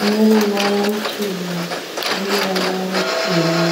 ine ruvara ruchena neruvara rutema.